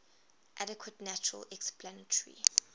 adequate natural explanatory